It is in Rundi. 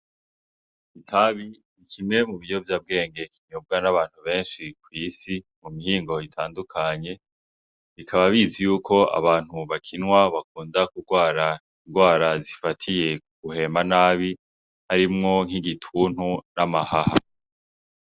Itabi ni kimwe mu biyovyabwenge kinyobwa n'abantu benshi kw'isi mu mihingo itandukanye bikaba bizwi yuko abantu bakinywa bakunda kugwara ingwara zifatiye mu guhema nabi harimwo nk'igituntu n'amahaha.